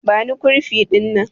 Bani kurfi dinnan!